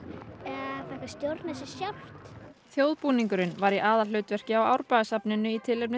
fékk að stjórna sér sjálft var í aðalhlutverki á Árbæjarsafninu í tilefni